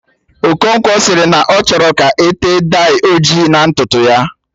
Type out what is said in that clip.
Okonkwo sịrị na ọ chọrọ ka ete dai ojii na ntutu ya